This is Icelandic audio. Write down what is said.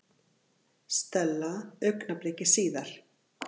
Stella augnabliki síðar.